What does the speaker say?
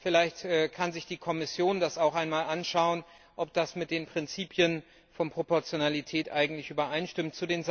Vielleicht kann sich die Kommission das auch einmal anschauen, ob das mit den Prinzipien der Proportionalität übereinstimmt.